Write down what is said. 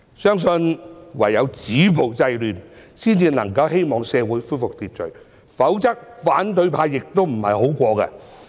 相信唯有止暴制亂，才能夠恢復社會秩序，否則反對派亦不好過。